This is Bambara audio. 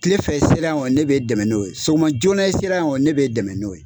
Tilefɛ sera yan gɔni ne be dɛmɛ n'o ye sogoma joona sera yen kɔni, ne be dɛmɛ n'o ye.